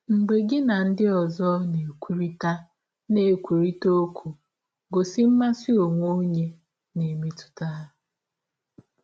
Mgbe gị na ndị ọzọ na - ekwụrịta na - ekwụrịta ọkwụ, gọsi mmasị ọnwe ọnye ná mmetụta ha.